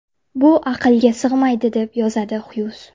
Bu aqlga sig‘maydi”, deb yozadi Xyuz.